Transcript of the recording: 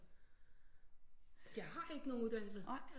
Jeg har ikke nogen uddannelse